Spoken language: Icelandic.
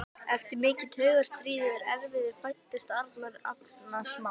Eftir mikið taugastríð og erfiði fæddist Arnar, agnarsmár.